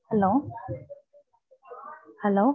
Hello, hello